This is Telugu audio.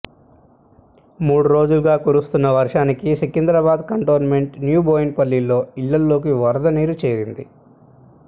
మూడు రోజులుగా కురుస్తున్న వర్షానికి సికింద్రాబాద్ కంటోన్మెంట్ న్యూబోయినపల్లిలో ఇళ్లలోకి వరద నీరు చేరింది